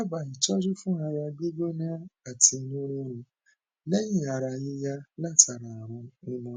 dábàá itọju fún ara gbígbóná ati inú rírun leyin ara yiya látara arun pneumo